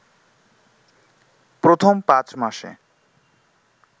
প্রথম পাঁচ মাসে